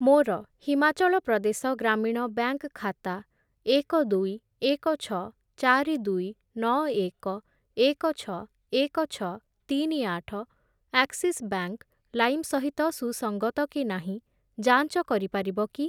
ମୋର ହିମାଚଳ ପ୍ରଦେଶ ଗ୍ରାମୀଣ ବ୍ୟାଙ୍କ୍‌ ଖାତା ଏକ, ଦୁଇ, ଏକ, ଛଅ, ଚାରି, ଦୁଇ, ନଅ, ଏକ, ଏକ, ଛଅ, ଏକ, ଛଅ, ତିନି, ଆଠ ଆକ୍ସିସ୍ ବ୍ୟାଙ୍କ୍‌ ଲାଇମ୍‌ ସହିତ ସୁସଙ୍ଗତ କି ନାହିଁ ଯାଞ୍ଚ କରିପାରିବ କି?